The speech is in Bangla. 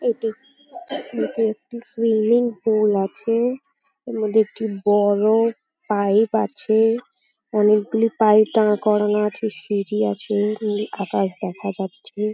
এটি এটি একটি সুইমিং পুল আছে এর মধ্যে একটি বড় পাইপ আছে অনেকগুলি পাইপ দাঁড় করানো আছে সিঁড়ি আছে উম আকাশ দেখা যাচ্ছে।